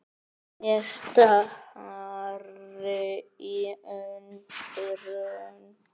Ég stari í undrun.